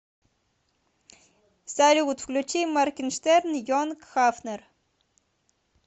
салют включи моргенштерн йонг хафнер